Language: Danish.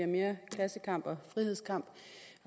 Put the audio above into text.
mere klassekamp og frihedskamp